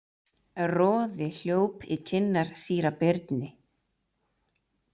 Roði hljóp í kinnar síra Birni.